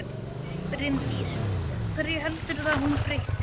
Bryndís: Hverju heldurðu að hún breyti?